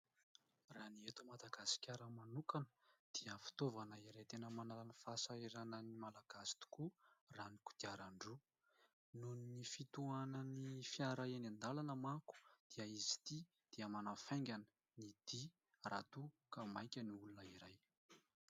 Raha ny eto Madagasikara manokana dia fitaovana iray tena manala ny fahasahiranan'ny Malagasy tokoa raha ny kodiaran-droa ; noho ny fitohanan'ny fiara eny an-dalana manko dia izy ity dia manafaingana ny dia raha toa ka maika ny olona iray.